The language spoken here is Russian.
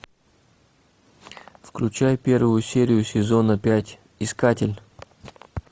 включай первую серию сезона пять искатель